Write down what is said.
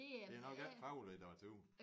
Det er nok ikke faglitteratur